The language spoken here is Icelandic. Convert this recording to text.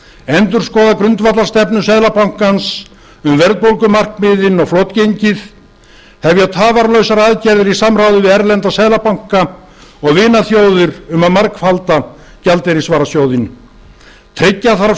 endurskoða grundvallarstefnu seðlabankans um verðbólgumarkmiðin og flotgengið hefja tafarlausar aðgerðir í samráði við erlenda seðlabanka og vinaþjóðir um að margfalda gjaldeyrisvarasjóðinn tryggja þarf